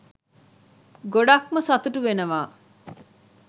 ගොඩක්ම සතුටු වෙනවා.